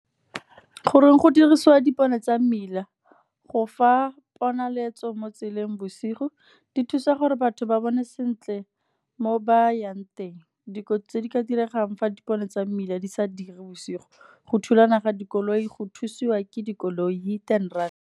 Goreng go dirisiwa dipone tsa mmila, go fa ponaletso mo tseleng bosigo. Di thusa gore batho ba bone sentle mo bayang teng. Dikotsi tse di ka diregang fa dipone tsa mmila di sa dire bosigo, go thulana ga dikoloi, go thusiwa ke dikoloi hit and run.